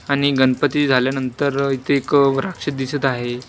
आणि गणपती झाल्यानंतर इथे एक राक्षस दिसत आहे.